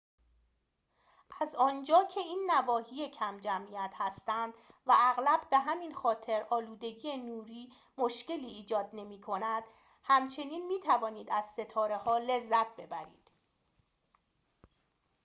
از آنجا که این نواحی کم‌جمعیت هستند و اغلب به همین خاطر آلودگی نوری مشکلی ایجاد نمی‌کند همچنین می‌توانید از ستاره‌ها لذت ببرید